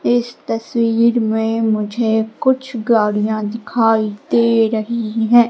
इस तस्वीर में मुझे कुछ गाड़ियां दिखाई दे रही हैं।